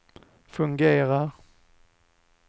fungerar